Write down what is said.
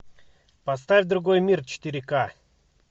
поставь другой мир четыре ка